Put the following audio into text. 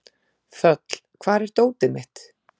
Þöll, hvar er dótið mitt?